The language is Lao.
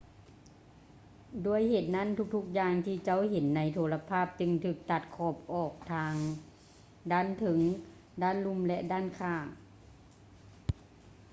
ດ້ວຍເຫດນັ້ນ ທຸກໆຢ່າງທີ່ເຈົ້າເຫັນໃນໂທລະພາບຈຶ່ງຖືກຕັດຂອບອອກ ທັງດ້ານເທິງ ດ້ານລຸ່ມ ແລະ ດ້ານຂ້າງ